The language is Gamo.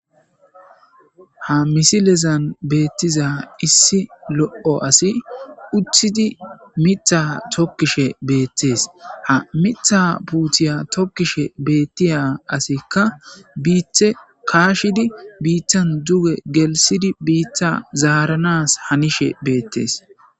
ha misilezan beettiza issi lo'o asi utidi mitha tokkishe betes, ha mitha puutiya tokkishe beettiya asikka biite kaashidi biittan duge gelsidi biitta zaaranas hanishe betes.